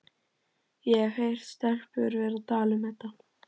Ég hef heyrt stelpur vera að tala um þetta.